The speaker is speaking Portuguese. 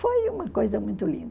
Foi uma coisa muito linda.